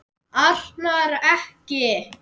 Arnar. ekki!